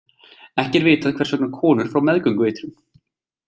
Ekki er vitað hvers vegna konur fá meðgöngueitrun.